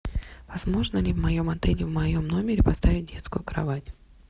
возможно ли в моем отеле в моем номере поставить детскую кровать